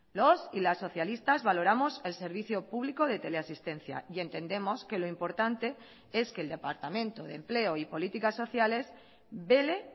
los y las socialistas valoramos el servicio público de teleasistencia y entendemos que lo importante es que el departamento de empleo y políticas sociales vele